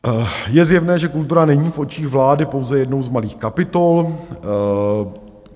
Je zjevné, že kultura není v očích vlády pouze jednou z malých kapitol.